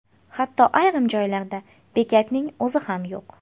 Hatto ayrim joylarda bekatning o‘zi ham yo‘q.